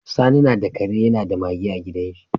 Sani nada Kare da Mage a gidan shi